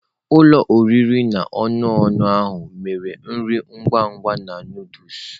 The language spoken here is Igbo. Ụlọ oriri na ọṅụṅụ ahụ mere nri ngwa ngwa na Nụdụls.